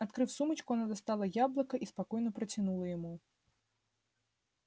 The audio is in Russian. открыв сумочку она достала яблоко и спокойно протянула ему